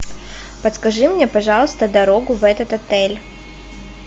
подскажи мне пожалуйста дорогу в этот отель